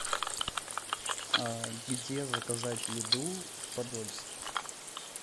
где заказать еду в подольске